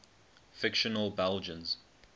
fictional belgians